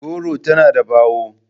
Goro tana da bawo.